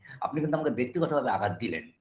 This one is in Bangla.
আপনি তো আমাকে ব্যক্তিগতভাবে আঘাত দিলেন